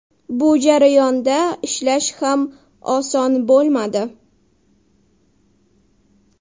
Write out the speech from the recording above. Bu jarayonda ishlash ham oson bo‘lmadi.